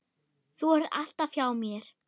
Þú ert alltaf hjá mér.